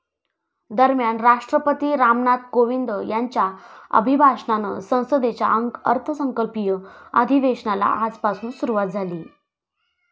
दरम्यान, राष्ट्रपती रामनाथ कोविंद यांच्या अभिभाषणानं संसदेच्या अर्थसंकल्पीय अधिवेशनाला आजपासून सुरूवात झाली.